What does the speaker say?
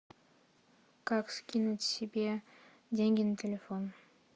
как скинуть себе деньги на телефон